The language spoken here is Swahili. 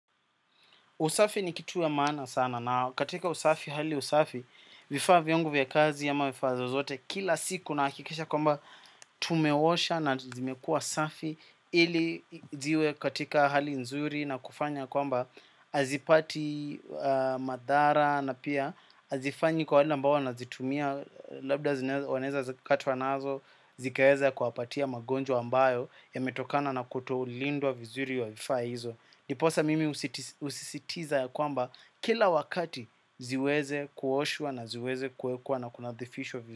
Usafi ni kitu ya mana sana na katika usafi, hali usafi, vifaa viangu vya kazi ama vifaa zozote kila siku nahakikisha kwamba tumewosha na zimekua safi ili ziwe katika hali nzuri na kufanya kwamba azipati madhara na pia hazifanywi kwa wale ambao wana zitumia labda wanaweza katwa nazo zikaweza kuwapatia magonjwa ambayo yametokana na kutolindwa vizuri wa vifaa hizo. Ndiposa mimi husisitiza ya kwamba kila wakati ziweze kuoshua na ziweze kuwekua na kunadhifishwa.